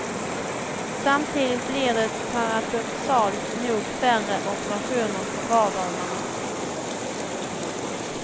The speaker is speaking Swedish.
Samtidigt blir det paradoxalt nog färre operationer på vardagarna.